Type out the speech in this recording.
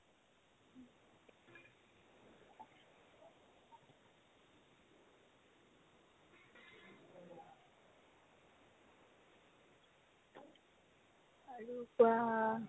আৰু যাম